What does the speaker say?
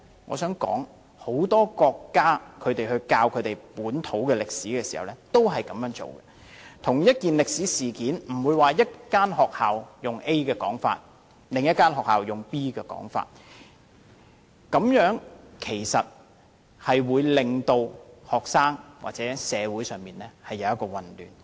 我想指出，很多國家在教授本土歷史時亦這樣做，對同一件歷史事件，不會有一間學校以 A 的說法來教授，另一間學校則有 B 的說法，這種做法會令學生感到混淆或社會出現混亂。